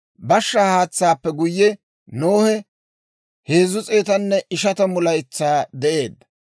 Bashshaa haatsaappe guyye, Nohe 350 laytsaa de'eedda.